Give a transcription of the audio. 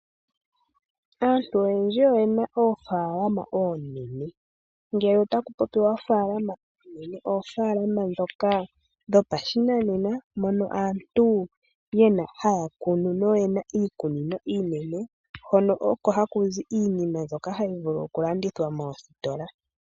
Aantu oyendji oye na oofalama oonene. Ngele otaku popiwa oofaalama oonene, oofalama ndhoka dhopashinanena, mono aantu haa kunu noye na iikunino iinene, hono oko haku zi iinima mbyoka hayi vulu okulandithwa moositolla .